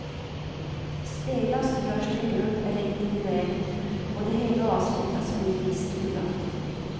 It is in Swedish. Spelas görs det i grupp eller individuellt och det hela avslutas med en visstuga.